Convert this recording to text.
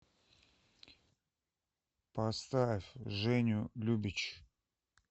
поставь женю любич